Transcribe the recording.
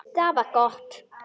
Það var gott